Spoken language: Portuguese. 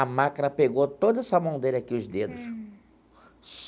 A máquina pegou toda essa mão dele aqui, os dedos.